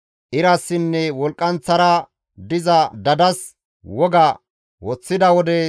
irassinne wolqqanththara diza dadas woga woththida wode,